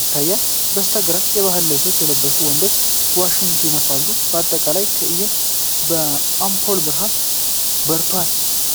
ይታያል። በስተግራ የባህላዊ ልብስ የለበሰ ወንድ ዋሽንት ይነፋል፤ አጠቃላይ ትዕይንቱ በአምፖል ብርሃን በርቷል።